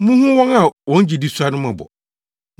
Munhu wɔn a wɔn gyidi sua no mmɔbɔ.